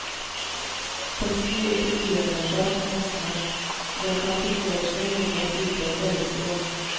Teksten virker uengasjert og messende, og den kan til forveksling ligne et utdrag fra leksikon.